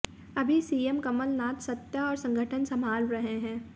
अभी सीएम कमलनाथ सत्ता और संगठन संभाल रहे हैं